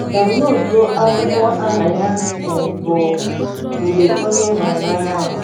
Danloduo akwụkwọ aha ya um bụ “ Mgbe Onye Ị Hụrụ n’Anya Nwụrụ. ”